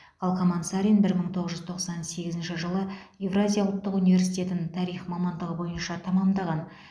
қалқаман сарин бір мың тоғыз жүз тоқсан сегізінші жылы евразия ұлттық университетін тарих мамандығы бойынша тәмәмдаған